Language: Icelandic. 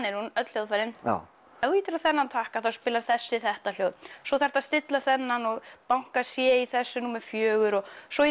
er hún öll hljóðfærin já ef þú ýtir á þennan takka þá spilar þessi þetta hljóð svo þarftu að stilla þennan og banka c í þessum númer fjögur og svo